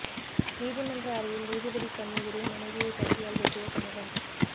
நீதிமன்ற அறையில் நீதிபதி கண் எதிரே மனைவியை கத்தியால் வெட்டிய கணவன்